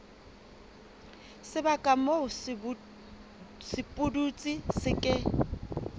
sebaka moo sepudutsi se ke